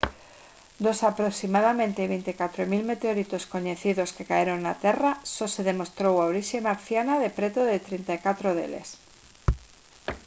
dos aproximadamente 24 000 meteoritos coñecidos que caeron na terra só se demostrou a orixe marciana de preto de 34 deles